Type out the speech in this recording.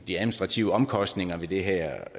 de administrative omkostninger ved det her